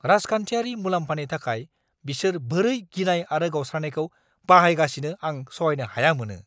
राजखान्थियारि मुलाम्फानि थाखाय बिसोर बोरै गिनाय आरो गावस्रानायखौ बाहायगासिनो आं सहायनो हाया मोनो!